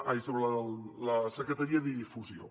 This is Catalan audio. ai sobre la secretaria de difusió